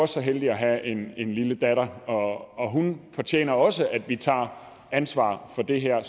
så heldig at have en lille datter og hun fortjener også at vi tager ansvar for det her